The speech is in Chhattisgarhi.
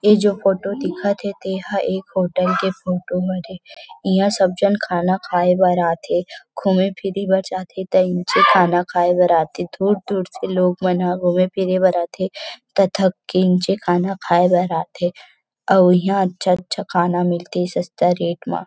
इ जो फोटो दिखत हे तेहा एक होटल के फोटो हरे इहा सब झन खाना खाय बर आथे घूमे फिरे भी जाथे त निचे खाना खाये बर आथे दूर -दूर से लोग मन ह घूमे फिरे भर आथे तथा की निचे खाना खाय बर आथे अउ इहा अच्छा -अच्छा खाना मिलथे सस्ता रेट मा --